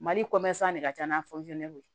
Mali de ka ca n'a ye